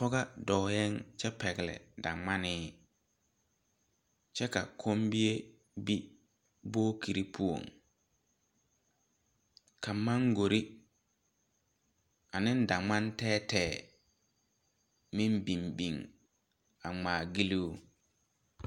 Pɔgɔ doɔɛ kye pɛgli dangmanii kye ka kunmii be bokiri puo ka mangori ane dangman teɛ teɛ meng bin bin a ngmaa gyiluu.